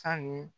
Sange